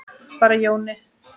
Bara Jóni.